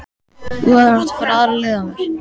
En þú hefðir átt að fara aðra leið að mér.